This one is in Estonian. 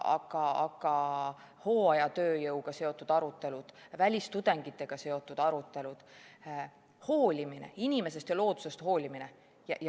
Aga hooajatööjõuga seotud arutelud, välistudengitega seotud arutelud, hoolimine inimesest ja loodusest, hoolimine?